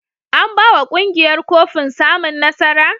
An ba wa ƙungiyar kofin samun nasara?